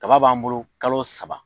Kaba b'an bolo kalo saba